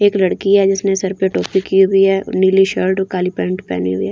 एक लड़की है जिसने सिर पे टोपी की हुई है नीली शर्ट काली पेंट पहनी हुई है।